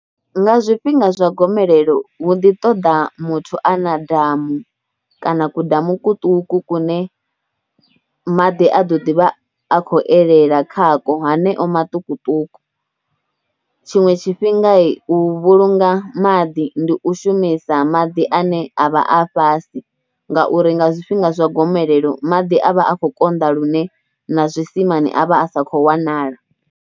Nga zwifhinga zwa gomelelo hu ḓi ṱoḓa muthu a na damu kana kudamu kuṱuku kune maḓi a ḓo ḓi vha a khou elela khakwo haneo maṱukuṱuku. Tshiṅwe tshifhinga u vhulunga maḓi ndi u shumisa maḓi ane a vha a fhasi ngauri nga zwifhinga zwa gomelelo maḓi a vha a kho konḓa lune na zwimimani a vha a sa kho wanala.